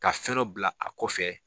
Ka fɛn dɔ bila a kɔfɛ.